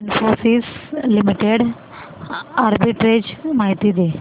Infosys limited arbitrage माहिती दे